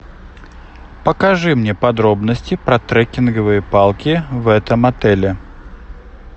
покажи мне подробности про трекинговые палки в этом отеле